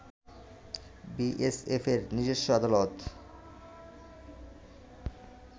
B S এফের নিজস্ব আদালত